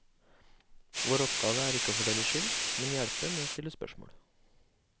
Vår oppgave er ikke å fordele skyld, men hjelpe med å stille spørsmål.